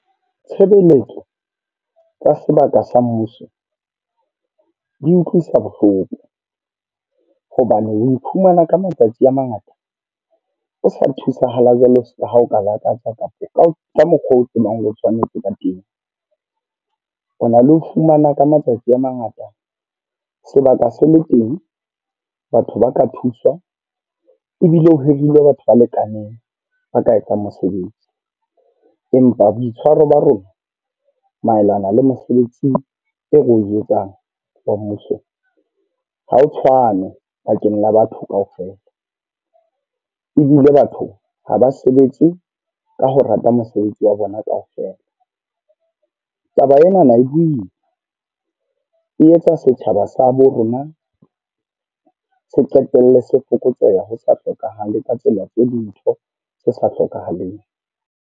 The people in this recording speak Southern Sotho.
Tshebeletso tsa sebaka sa mmuso, di utlwisa bohloko. Hobane o iphumana ka matsatsi a mangata, o sa thusahala jwalo ha o ka lakatsa kapa ka ka mokgwa o tsebang ho tshwanetse ba teng. Ho na le ho fumana ka matsatsi a mangata sebaka se le teng. Batho ba ka thuswa ebile o hirile batho ba lekaneng ba ka etsang mosebetsi. Empa boitshwaro ba rona, maelana le mesebetsi eo re o etsang wa mmuso, ha ho tshwane bakeng la batho kaofela. Ebile batho ha ba sebetse ka ho rata mosebetsi wa bona kaofela. Taba enana e boima, e etsa setjhaba sa bo rona se qetelle se fokotseha ho sa hlokahale ka tsela tse le ntho se sa hlokahaleng.